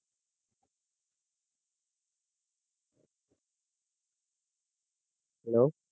Hello